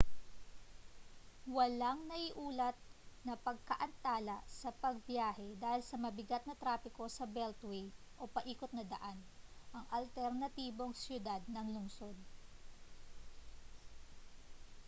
walang naiulat na pagkaantala sa pagbiyahe dahil sa mabigat na trapiko sa beltway o paikot na daan ang alternatibong siyudad ng lungsod